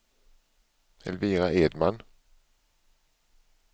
Elvira Edman